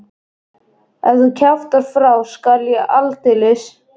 Ef þú kjaftar frá skal ég aldeilis.